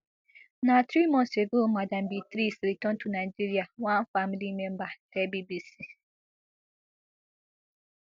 na three months ago madam beatrice return to nigeria one family member tell bbc